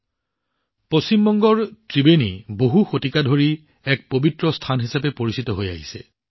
বন্ধুসকল পশ্চিম বংগৰ ত্ৰিবেণী বহু শতাব্দী ধৰি এক পবিত্ৰ স্থান হিচাপে পৰিচিত